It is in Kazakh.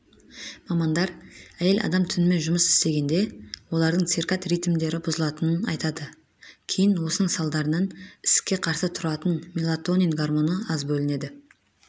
мамандар әйел адам түнімен жұмыс істегенде олардың циркад ритмдері бұзылатынын айтады кейін осының салдарынан ісікке қарсы тұратын мелатонин гормоны аз бөлінеді